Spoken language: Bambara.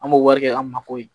An b'o wari kɛ an ma foyi ye